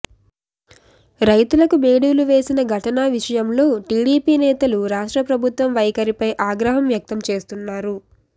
రైతులకు బేడీలు వేసిన ఘటన విషయం లో టీడీపీ నేతలు రాష్ట్ర ప్రభుత్వ వైఖరి పై ఆగ్రహం వ్యక్తం చేస్తున్నారు